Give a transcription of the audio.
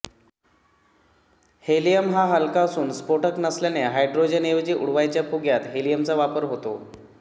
helium हा हलका असून स्फोटक नसल्याने हैड्रोजनऐवजी उडवायच्या फुग्यात हेलियमचा वापर होतो